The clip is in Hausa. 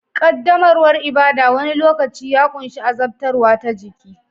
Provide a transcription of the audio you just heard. Ƙaddamarwar ibada wani lokaci ya ƙunshi azabtarwa ta jiki